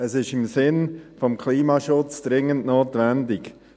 Dies ist im Sinn des Klimaschutzes dringend notwendig.